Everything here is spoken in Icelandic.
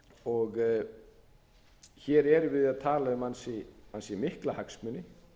og hér erum við að tala um ansi mikla hagsmuni